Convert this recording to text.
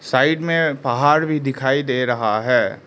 Side में पहाड़ भी दिखाई दे रहा है।